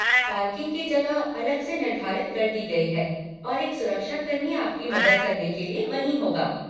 Parking की जगह अलग से निर्धारित कर दी गई है और एक सुरक्षाकर्मी आपकी मदद करने के लिए वहीं होगा।